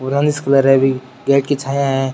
Colour है अभी gate की छाया है।